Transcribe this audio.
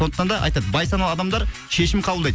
сондықтан да айтады байсаналы адамдар шешім қабылдайды